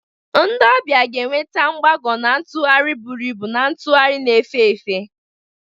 Ndị ọbịa ga-enweta mgbago na ntụgharị buru ibu na ntugharị na-efe efe.